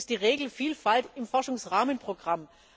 Es ist die Regelvielfalt im Forschungsrahmenprogramm.